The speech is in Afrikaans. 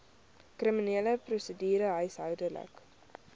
kriminele prosedure huishoudelike